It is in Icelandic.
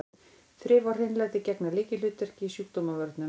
Þrif og hreinlæti gegna lykilhlutverki í sjúkdómavörnum.